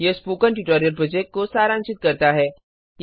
यह spoken tutorial project को सारांशित करता है